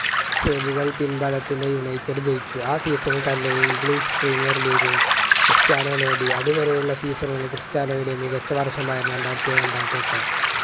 save കൾ പിൻബലത്തിൽ united ജയിച്ചു ആ season ൽ തന്നെ English premier leaguge ഉം ക്രിസ്ത്യാനോ നേടി അതുവരെയുള്ള season കളിൽ ക്രിസ്റ്യാനോയുടെ മികച്ച വർഷമായിരുന്നു രണ്ടായിരത്തിയേഴ് രണ്ടായിരത്തിയെട്ട്